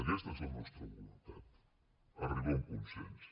aquesta és la nostra voluntat arribar a un consens